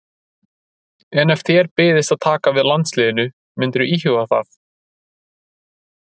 En ef þér byðist að taka við landsliðinu myndirðu íhuga það?